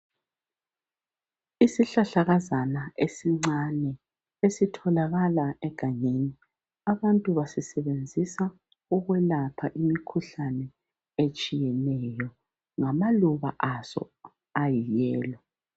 Isihlahlakazana esincane, esitholakala egangeni. Abantu basisebenzisa ukwelapha imikhuhlane etshiyeneyo. Ngamaluba aso ayiyellow.